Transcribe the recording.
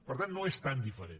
per tant no és tan diferent